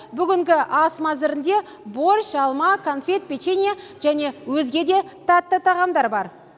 бүгінгі ас мәзірінде борщ алма кәмпит және өзге де тәтті тағамдар бар